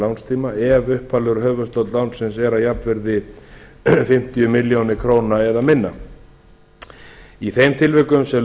lánstíma ef upphaflegur höfuðstóll lánsins er að jafnvirði fimmtíu milljónir króna eða minna í þeim tilvikum sem